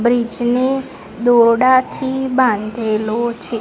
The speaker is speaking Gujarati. બ્રિજ ને દોરડાથી બાંધેલો છે.